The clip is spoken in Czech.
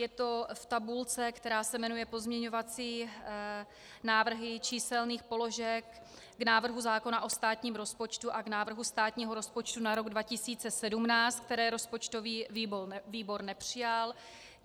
Je to v tabulce, která se jmenuje pozměňovací návrhy číselných položek k návrhu zákona o státním rozpočtu a k návrhu státního rozpočtu na rok 2017, které rozpočtový výbor nepřijal.